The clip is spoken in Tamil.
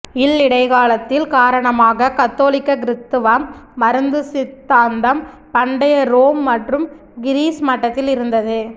இல் இடைக்காலத்தில் காரணமாக கத்தோலிக்க கிறித்துவம் மருந்து சித்தாந்தம் பண்டைய ரோம் மற்றும் கிரீஸ் மட்டத்தில் இருந்தது